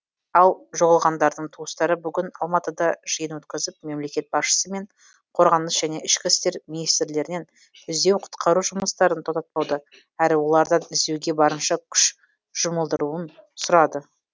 ал жоғалғандардың туыстары бүгін алматыда жиын өткізіп мемлекет басшысы мен қорғаныс және ішкі істер министрлерінен іздеу құтқару жұмыстарын тоқтатпауды әрі олардан іздеуге барынша күш жұмылдырылуын сұрады